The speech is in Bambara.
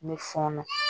N bɛ fɔɔnɔ